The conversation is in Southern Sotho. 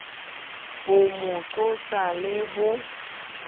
ho mo qosa le ho